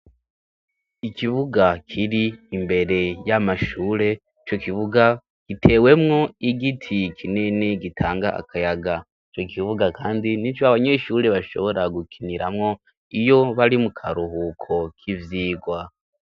Ikibuga kir'imbere y'amashure, ico kibuga gitewemwo igiti kinini gitanga akayaga, ico kibuga kandi nico abanyeshure bashobora gukiniramwo iyo bari mu karuhuko k'ivyigwa.